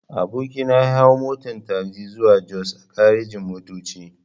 Aboki na ya hau motan tagzi zuwa jos a garejin-motoci.